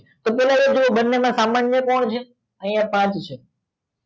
બને માં સામાન્ય કોણ છે આય પાંચ છે